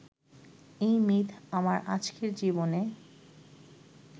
এই মিথ আমার আজকের জীবনে